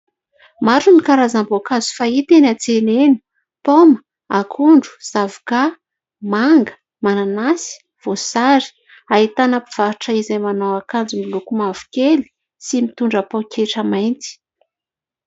Maro ny karazam-boankazo fahita eny antsena eny: paoma, akondro, zavoka, manga, mananasy, voasary; ahitana mpivarotra izay manao akanjo miloko mavokely sy mitondra poketra mainty.